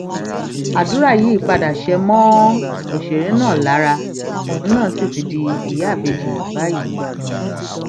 àdúrà yìí padà ṣe mọ òṣèré náà lára òun náà sì ti di ìyá ìbejì báyìí